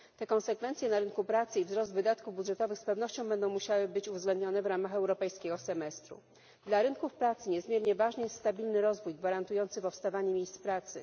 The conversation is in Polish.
Te konsekwencje na rynku pracy i wzrost wydatków budżetowych z pewnością będą musiały zostać uwzględnione w ramach europejskiego semestru. Dla rynków pracy niezmiernie ważny jest stabilny rozwój gwarantujący powstawanie miejsc